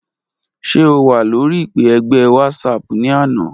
Ṣe o wa lori ipe ẹgbẹ Whatsapp ni ana?